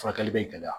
Furakɛli bɛ gɛlɛya